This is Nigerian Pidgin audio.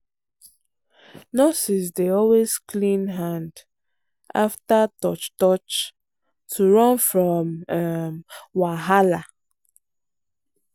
nurses dey always clean hand um after touch touch to run from um wahala.